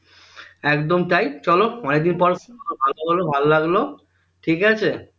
একদম তাই চলো অনেকদিন পর কথা হলো ভালো লাগলো ঠিকাছে